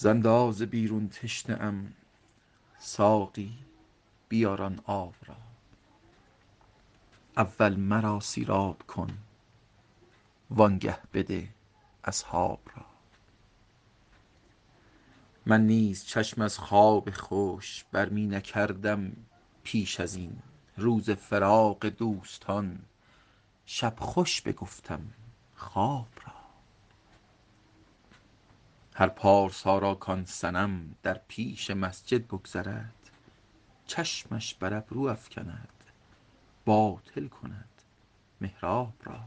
ز اندازه بیرون تشنه ام ساقی بیار آن آب را اول مرا سیراب کن وآنگه بده اصحاب را من نیز چشم از خواب خوش بر می نکردم پیش از این روز فراق دوستان شب خوش بگفتم خواب را هر پارسا را کآن صنم در پیش مسجد بگذرد چشمش بر ابرو افکند باطل کند محراب را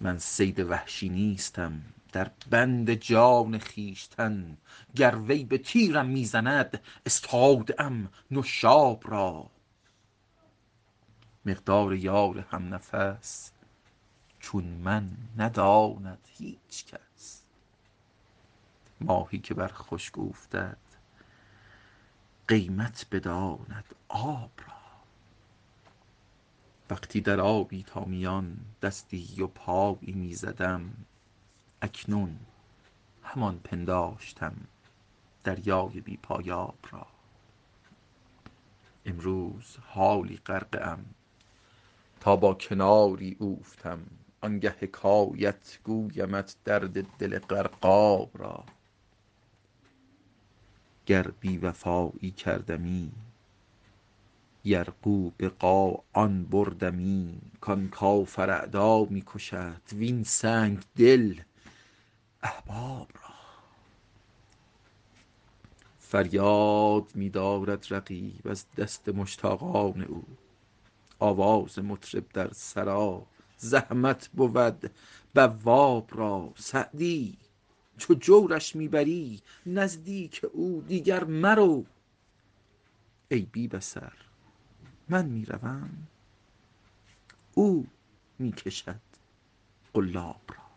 من صید وحشی نیستم در بند جان خویشتن گر وی به تیرم می زند استاده ام نشاب را مقدار یار هم نفس چون من نداند هیچ کس ماهی که بر خشک اوفتد قیمت بداند آب را وقتی در آبی تا میان دستی و پایی می زدم اکنون همان پنداشتم دریای بی پایاب را امروز حالا غرقه ام تا با کناری اوفتم آنگه حکایت گویمت درد دل غرقاب را گر بی وفایی کردمی یرغو به قاآن بردمی کآن کافر اعدا می کشد وین سنگدل احباب را فریاد می دارد رقیب از دست مشتاقان او آواز مطرب در سرا زحمت بود بواب را سعدی چو جورش می بری نزدیک او دیگر مرو ای بی بصر من می روم او می کشد قلاب را